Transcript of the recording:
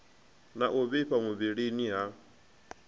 na u vhifha muvhilini ha